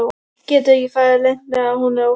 Getur ekki farið leynt með að hún er óhress.